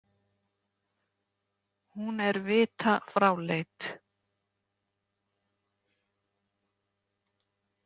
Hún er vita fráleit.